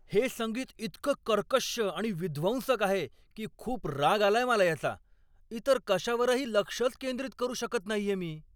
हे संगीत इतकं कर्कश्श आणि विध्वंसक आहे की खूप राग आलाय मला याचा. इतर कशावरही लक्षच केंद्रित करू शकत नाहीये मी.